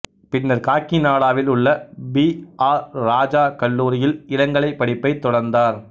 பின்னர் காக்கிநாடாவில் உள்ள பி ஆர் இராஜா கல்லூரியில் இளங்கலை படிப்பைத் தொடர்ந்தார்